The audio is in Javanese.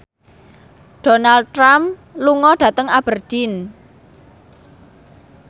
Donald Trump lunga dhateng Aberdeen